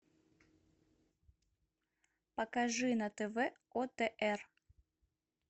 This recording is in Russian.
покажи на тв отр